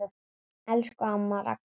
Elsku amma Ragna.